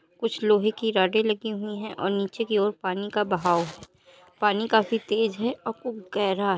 कुछ लोहे की राडे लगी हुई है और नीचे की और पानी का बहाव है पानी काफी तेज है और खूब गहर --